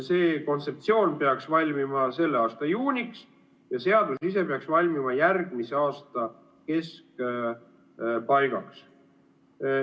See kontseptsioon peaks valmima selle aasta juuniks ja seadus ise peaks valmima järgmise aasta keskpaigaks.